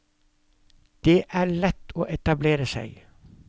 Det er lett å etablere seg.